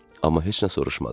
Amma heç nə soruşmadı.